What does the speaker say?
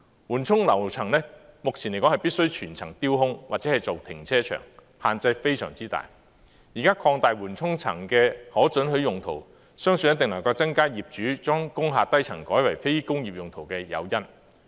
目前來說，緩衝樓層必須全層掉空或作為停車場，限制非常大，現在擴大緩衝樓層的可准許用途，相信一定能夠增加業主將工廈低層改為非工業用途的誘因。